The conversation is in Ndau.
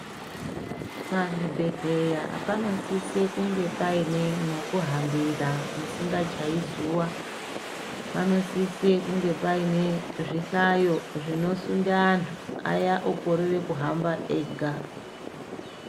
Pazvibhedhleya panosise kunge paine mwekuhambira musingachayi zuwa panosise kunge paine zvihlayo zvinosunde antu aya okorere kuhamba ega.